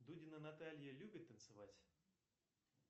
дудина наталья любит танцевать